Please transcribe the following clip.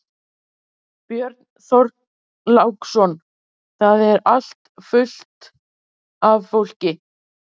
Björn Þorláksson: Það er allt fullt af fólki?